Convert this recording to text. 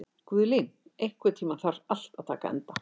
Guðlín, einhvern tímann þarf allt að taka enda.